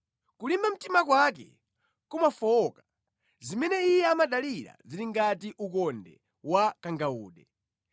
Kulimba mtima kwake kumafowoka; zimene iye amadalira zili ngati ukonde wa kangawude.